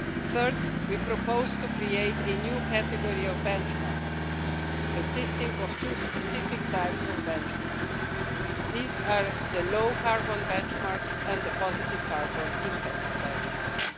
Third, we propose to create a new category of benchmarks consisting of two specific types of benchmarks low carbon benchmarks and positive carbon impact benchmarks.